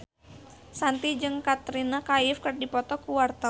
Shanti jeung Katrina Kaif keur dipoto ku wartawan